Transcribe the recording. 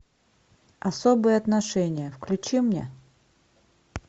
особые отношения включи мне